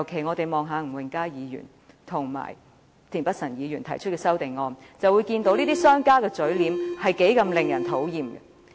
我們從吳永嘉議員和田北辰議員提出的修正案可看到，這些商家的嘴臉多麼令人討厭。